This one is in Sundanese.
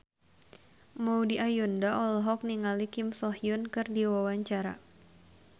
Maudy Ayunda olohok ningali Kim So Hyun keur diwawancara